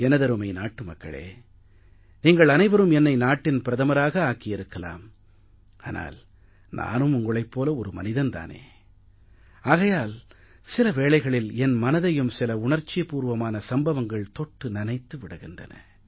எனதருமை நாட்டு மக்களே நீங்கள் அனைவரும் என்னை நாட்டின் பிரதமராக ஆக்கியிருக்கலாம் ஆனால் நானும் உங்களைப் போல ஒரு மனிதன் தானே ஆகையால் சில வேளைகளில் என் மனதையும் சில உணர்ச்சிபூர்வமான சம்பவங்கள் தொட்டு நனைத்து விடுகின்றன